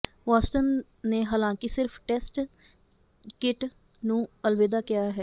Watson ਨੇ ਹਾਲਾਂਕਿ ਸਿਰਫ਼ ਟੈਸਟ ਿਯਕਟ ਨੂੰ ਅਲਵਿਦਾ ਕਿਹਾ ਹੈ